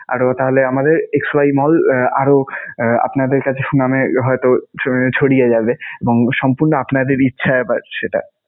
আরও তাহলে আমাদের xy mall আহ আরও আপনাদের কাছে সুনামে হয়তো ছড়িয়ে যাবে এবং সম্পূর্ণ আপনাদের ইচ্ছায় সেটা.